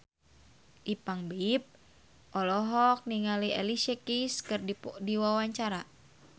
Ipank BIP olohok ningali Alicia Keys keur diwawancara